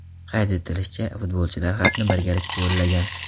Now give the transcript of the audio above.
Qayd etilishicha, futbolchilar xatni birgalikda yo‘llagan.